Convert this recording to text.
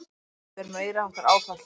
Þetta er meiriháttar áfall!